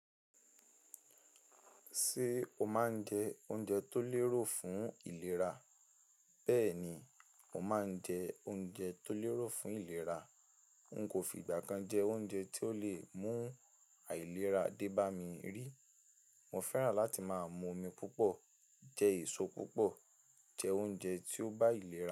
Ṣé o máa ń jẹ oúnjẹ tó lérò fún ìlera? Bẹ́ẹ̀ ni, mo máa ń jẹ oúnjẹ tó lérò fún ìlera. N kò fi ìgbà kan jẹ oúnjẹ tí ó le mú àìlera dé bá mi rí. Mo fẹ́ràn láti máa mu omi púpọ̀, jẹ èso púpọ̀, jẹ oúnjẹ tí ó bá ìlera.